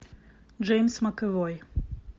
джеймс макэвой